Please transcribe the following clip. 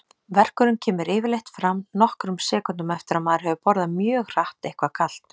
Verkurinn kemur yfirleitt fram nokkrum sekúndum eftir að maður hefur borðað mjög hratt eitthvað kalt.